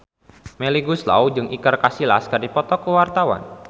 Melly Goeslaw jeung Iker Casillas keur dipoto ku wartawan